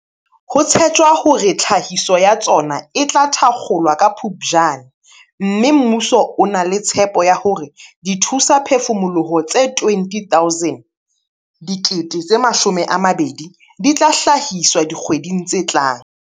Ho tshetjwa hore tlhahiso ya tsona e tla thakgolwa ka Phuptjane mme mmuso o na le tshepo ya hore dithusaphefumoloho tse 20 000 di tla hlahiswa dikgweding tse tlang.